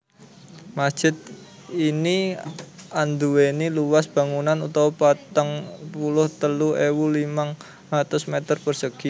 Masjid ini andhuwéni luas bangunan utama patang puluh telu ewu limang atus meter persegi